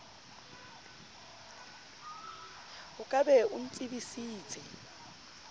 o ka be o ntsebisitse